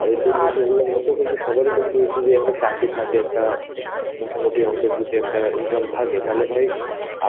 আবার দুর্নীতি গুলা কিন্তু সবারই কিন্তু যদি একটা চাকরি থাকে একটা মোটামুটি অংকের যদি একটা income থাকে তাহলে ভাই